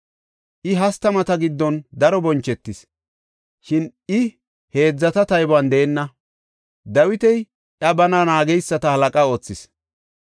I hastamata giddon daro bonchetis; shin I heedzata taybuwan deenna. Dawiti iya bana naageysata halaqa oothis.